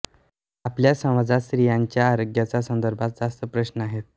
आपल्या समाजात स्त्रियांच्या आरोग्याच्या संदर्भात जास्त प्रश्न आहेत